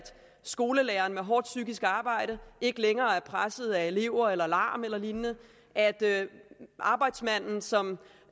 skolelæreren med et hårdt psykisk arbejde ikke længere presset af elever larm eller lignende arbejdsmanden som